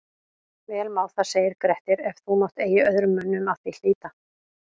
Vel má það segir Grettir, ef þú mátt eigi öðrum mönnum að því hlíta